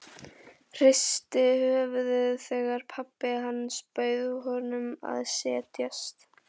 Hristi höfuðið þegar pabbi hans bauð honum að setjast.